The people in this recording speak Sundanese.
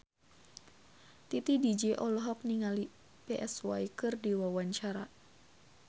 Titi DJ olohok ningali Psy keur diwawancara